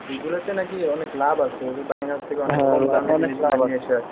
এইগুলোতে নাকি অনেক লাভ আছে